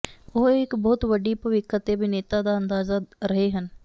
ਉਹ ਇੱਕ ਬਹੁਤ ਵੱਡੀ ਭਵਿੱਖ ਅਤੇ ਅਭਿਨੇਤਾ ਦਾ ਅੰਦਾਜ਼ਾ ਰਹੇ ਹਨ